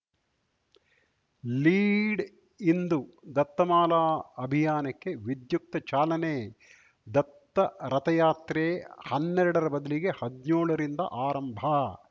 lead ಇಂದು ದತ್ತಮಾಲಾ ಅಭಿಯಾನಕ್ಕೆ ವಿದ್ಯುಕ್ತ ಚಾಲನೆ ದತ್ತ ರಥಯಾತ್ರೆ ಹನ್ನೆರಡರ ಬದಲಿಗೆ ಹದ್ನ್ಯೋಳ ರಿಂದ ಆರಂಭ